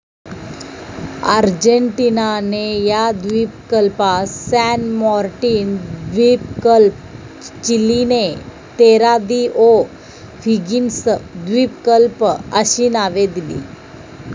अर्जेंटिनाने या द्वीपकल्पास San Martin द्विपकल्प, चिलिने तेरा दि ओ 'हिगिन्स द्विपकल्प, अशी नावे दिली.